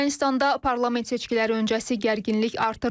Ermənistanda parlament seçkiləri öncəsi gərginlik artır.